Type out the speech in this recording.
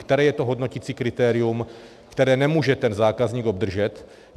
Které je to hodnoticí kritérium, které nemůže ten zákazník obdržet?